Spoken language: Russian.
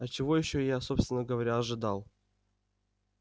а чего ещё я собственно говоря ожидал